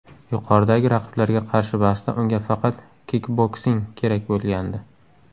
Yuqoridagi raqiblarga qarshi bahsda unga faqat kikboksing kerak bo‘lgandi.